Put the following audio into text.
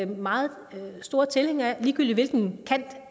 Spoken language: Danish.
meget store tilhængere af ligegyldigt hvilken kant